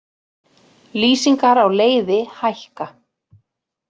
Lýsingar á leiði hækka